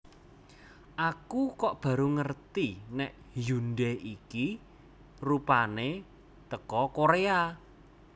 Aku kok baru ngerti nek Hyundai iki rupane teko Korea